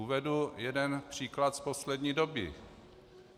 Uvedu jeden příklad z poslední doby.